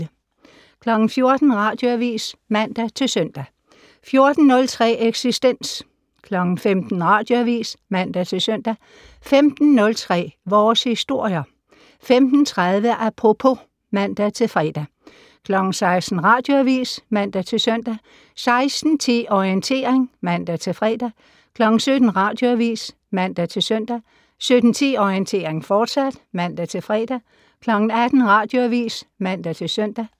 14:00: Radioavis (man-søn) 14:03: Eksistens 15:00: Radioavis (man-søn) 15:03: Vores Historier 15:30: Apropos (man-fre) 16:00: Radioavis (man-søn) 16:10: Orientering (man-fre) 17:00: Radioavis (man-søn) 17:10: Orientering, fortsat (man-fre) 18:00: Radioavis (man-søn)